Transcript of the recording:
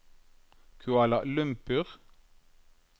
Kuala Lumpur